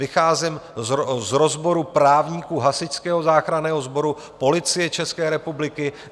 Vycházím z rozboru právníků Hasičského záchranného sboru, Policie České republiky.